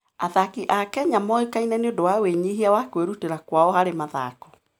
Athaki a Kenya moĩkaine nĩ ũndũ wa wĩnyihia na kwĩrutĩra kwao harĩ mathako.